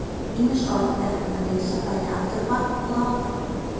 Ýmis orð er hægt að lesa bæði aftur á bak og áfram.